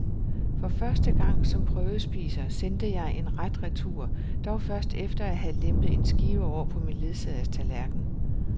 For første gang som prøvespiser sendte jeg en ret retur, dog først efter at have lempet en skive over på min ledsagers tallerken.